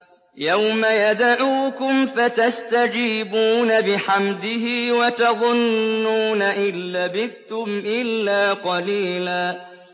يَوْمَ يَدْعُوكُمْ فَتَسْتَجِيبُونَ بِحَمْدِهِ وَتَظُنُّونَ إِن لَّبِثْتُمْ إِلَّا قَلِيلًا